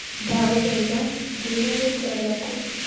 Ndagũthaitha, njĩĩra rĩĩtwa rĩaku